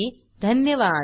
सहभागासाठी धन्यवाद